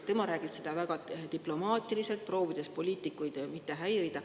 Ta räägib seda väga diplomaatiliselt, proovides poliitikuid mitte häirida.